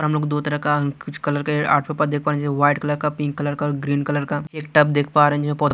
हम लोग दो तरह का कुछ कलर का वाइट कलर का पिंक कलर का ग्रीन कलर का एक टब देख पा--